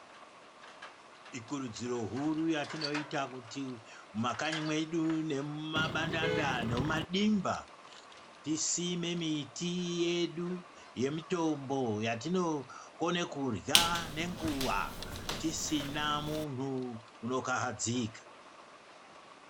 Ikurudziro huru yatinoita kuti mumakanyi medu nemabandanda nemumadimba tisime miti yedu yemitombo yatinokone kurya nenguva tisina munhu anokahadzika.